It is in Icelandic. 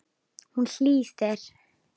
Hún hlýðir.